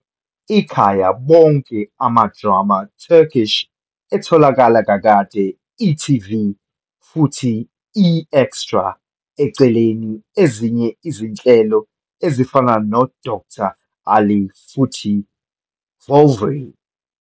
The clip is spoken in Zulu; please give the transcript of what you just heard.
Ikhaya bonke amadrama Turkish etholakalayo kakade e.tv futhi eExtra eceleni ezinye izinhlelo ezifana Dokter Ali futhi Voelvry.